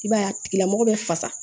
I b'a ye a tigila mɔgɔ bɛ fasa